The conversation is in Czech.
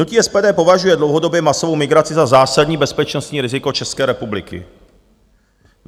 Hnutí SPD považuje dlouhodobě masovou migraci za zásadní bezpečnostní riziko České republiky.